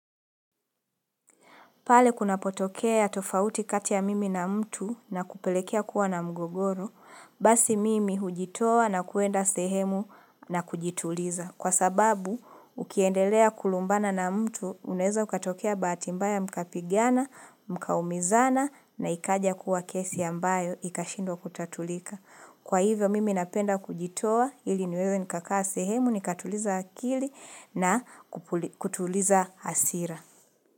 Pale kunapotokea tofauti kati ya mimi na mtu na kupelekea kuwa na mgogoro, basi mimi hujitowa na kuenda sehemu na kujituliza. Kwa sababu, ukiendelea kulumbana na mtu, unaeza ukatokea bahati mbaya mkapigana, mkaumizana na ikaja kuwa kesi ambayo ikashindwa kutatulika. Kwa hivyo, mimi napenda kujitowa ili niweze nikakaa sehemu, nikatuliza akili na kutuliza hasira.